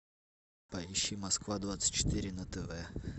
поищи москва двадцать четыре на тв